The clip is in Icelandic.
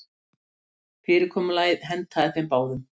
Fyrirkomulagið hentaði þeim báðum.